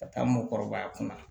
Ka taa mɔgɔ kɔrɔbaya kunna